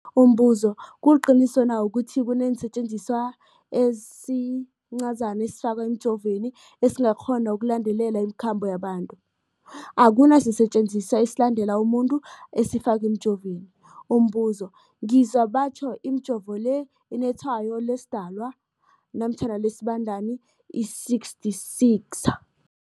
Umbuzo, kuliqiniso na ukuthi kunesisetjenziswa esincazana esifakwa emijovweni, esikghona ukulandelela imikhambo yabantu? Akuna sisetjenziswa esilandelela umuntu esifakwe emijoveni. Umbuzo, ngizwa batjho imijovo le inetshayo lesiDalwa namkha lesiBandana i-666.